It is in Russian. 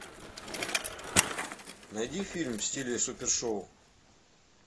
найди фильм в стиле супер шоу